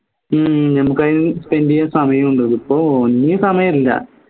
ഹും നമുക്ക് അയിന് spend ചെയ്യാൻ സമയണ്ട് ഇപ്പോ ഒന്നിനും സമയല്ല